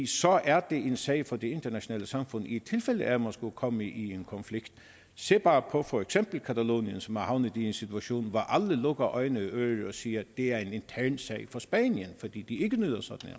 så er det en sag for det internationale samfund i tilfælde af at man skulle komme i en konflikt se bare på for eksempel catalonien som er havnet i en situation hvor alle lukker øjne og ører og siger det er en intern sag for spanien det fordi de ikke nyder sådan